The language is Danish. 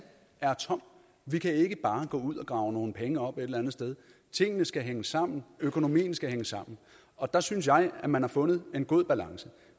er tom vi kan ikke bare gå ud og grave nogle penge op et eller andet sted tingene skal hænge sammen økonomien skal hænge sammen og der synes jeg man har fundet en god balance